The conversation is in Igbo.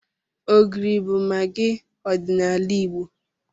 Ogiri bụ magị ọdịnala Igbo.